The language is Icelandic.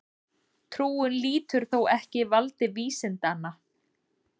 Trúin lýtur þó ekki valdi vísindanna.